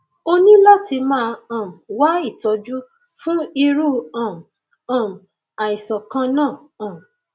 o ní láti máa um wá ìtọjú fún irú um um àìsàn kan náà um